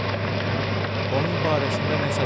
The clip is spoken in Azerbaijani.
Onun barəsində nəsə bilirsiz?